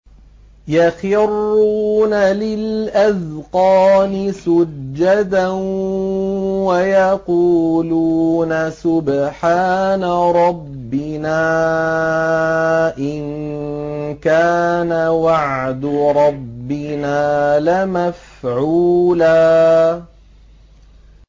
وَيَقُولُونَ سُبْحَانَ رَبِّنَا إِن كَانَ وَعْدُ رَبِّنَا لَمَفْعُولًا